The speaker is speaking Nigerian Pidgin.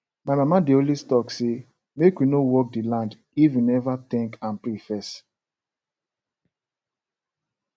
my mama dey always talk say make we no work the land if we never thank and pray first